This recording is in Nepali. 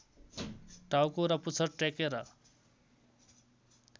टाउको र पुच्छर टेकेर